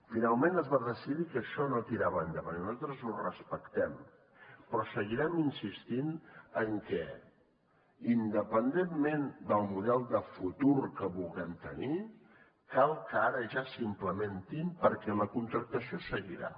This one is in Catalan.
finalment es va decidir que això no tirava endavant i nosaltres ho respectem però seguirem insistint en que independentment del model de futur que vulguem tenir cal que ara ja s’implementin perquè la contractació seguirà